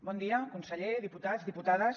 bon dia conseller diputats diputades